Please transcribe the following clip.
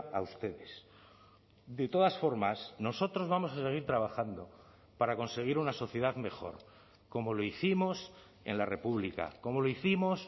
a ustedes de todas formas nosotros vamos a seguir trabajando para conseguir una sociedad mejor como lo hicimos en la república como lo hicimos